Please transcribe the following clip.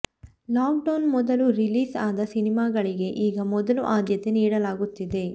lock down ಮೊದಲು release ಆದ ಸಿನಿಮಾಗಳಿಗೆ ಈಗ ಮೊದಲು ಆದ್ಯತೆ ನೀಡಲಾಗುತ್ತಿದೆ